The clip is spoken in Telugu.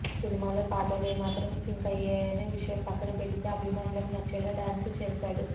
సినిమాలో పాటలు ఏమాత్రం సింక్ అయ్యాయనే విషయం పక్కన పెడితే అభిమానులకి నచ్చేలా డాన్స్ చేశాడు